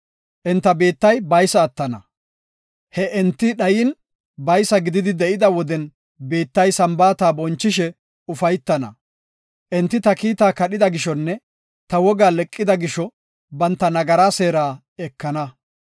Enta biittay baysa attana; he enti dhayin baysa gididi de7ida woden biittay Sambaata bonchishe ufaytana. Enti ta kiitaa kadhida gishonne ta wogaa leqida gisho banta nagaraa seera ekana.